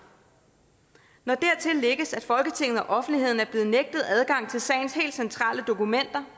når dertil lægges at folketinget og offentligheden er blevet nægtet adgang til sagens helt centrale dokumenter